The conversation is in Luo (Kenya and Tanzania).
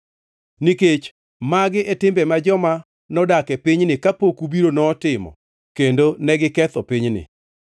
nikech magi e timbe ma joma nodak e pinyni kapok ubiro notimo kendo negiketho pinyni.